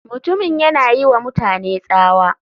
Mutumin yana yiwa mutane tsawa.